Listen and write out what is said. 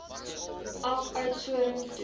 af oudtshoorn toe